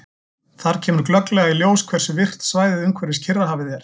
Þar kemur glögglega í ljós hversu virkt svæðið umhverfis Kyrrahafið er.